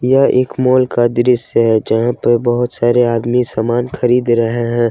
यह एक माल का दृश्य है जहां पे बहुत सारे आदमी सामान खरीद रहे हैं।